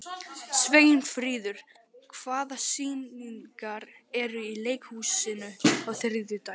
Sveinfríður, hvaða sýningar eru í leikhúsinu á þriðjudaginn?